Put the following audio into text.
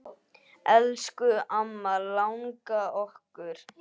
Elsku amma langa okkar.